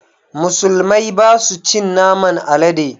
Musulmai ba su cin naman alade